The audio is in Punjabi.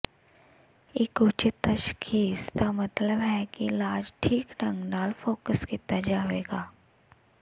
ਇੱਕ ਉਚਿਤ ਤਸ਼ਖੀਸ ਦਾ ਮਤਲਬ ਹੈ ਕਿ ਇਲਾਜ ਠੀਕ ਢੰਗ ਨਾਲ ਫੋਕਸ ਕੀਤਾ ਜਾਵੇਗਾ